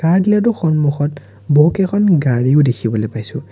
আনকি ইহঁতৰ সন্মুখত বহুকেইখন গাড়ীও দেখিবলৈ পাইছোঁ।